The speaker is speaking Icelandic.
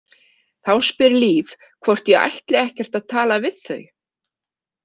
Þá spyr Líf hvort ég ætli ekkert að tala við þau.